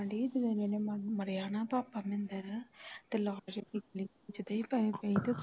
ਆਉਂਦੇ ਜਿਸ ਦਿਨ ਦਾ ਮਰਿਆ ਨਾ ਪਾਪਾ ਮਹਿੰਦਰ ਲਾਕ ਚ ਜਿਦਾਂ ਹੀ ਪੈਸੇ ਪਏ ਸੀ